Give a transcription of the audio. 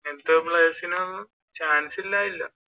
ഇങ്ങനത്തെ players നും chance ഇലാതില്ല.